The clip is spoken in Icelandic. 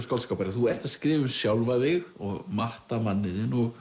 skáldskaparins þú ert að skrifa um sjálfa þig og matta manninn þinn